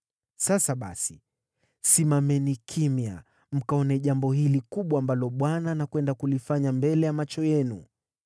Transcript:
“Sasa basi, simameni kimya mkaone jambo hili kubwa ambalo Bwana anakwenda kulifanya mbele ya macho yenu!